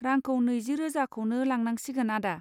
रांखौ नैजि रोजाखौनो लांनांसिगोन आदा।